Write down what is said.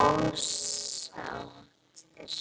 ósáttir?